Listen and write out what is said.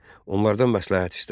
Onlardan məsləhət istədi.